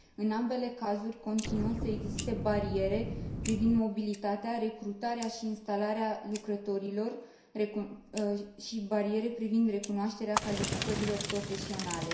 În ambele cazuri continuă să existe bariere privind mobilitatea, recrutarea și instalarea lucrătorilor, precum și bariere privind recunoașterea calificărilor profesionale.